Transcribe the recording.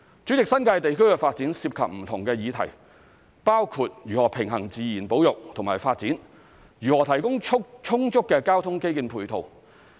主席，新界地區發展涉及不同的議題，包括如何平衡自然保育及發展，如何提供充足的交通基建配套。